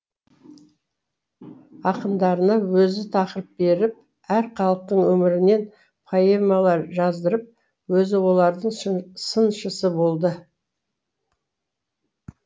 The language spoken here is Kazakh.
ақындарына өзі тақырып беріп әр халықтың өмірінен поэмалар жаздырып өзі олардың сыншысы болды